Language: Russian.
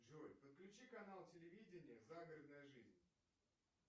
джой подключи канал телевидения загородная жизнь